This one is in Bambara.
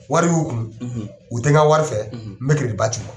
Wari y'u kun u tɛ n ka wari fɛ n bɛ ba ci ma.